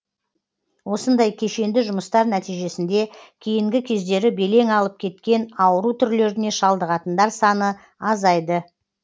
осындай кешенді жұмыстар нәтижесінде кейінгі кездері белең алып кеткен ауру түрлеріне шалдығатындар саны азайды